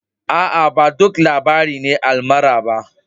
Aa, ba duk labari ne almara ba.